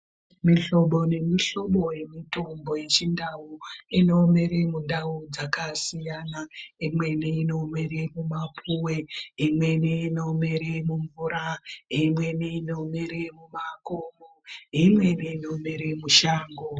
Mihlobo nemuhlobo yemitombo yechiNdau inomere mundau dzakasiyana. Imweni inomere mumapuwe, imweni inomere mumvura, imweni inomere mumakomo neimweni inomere mushango.